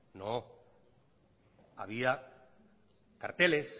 no había carteles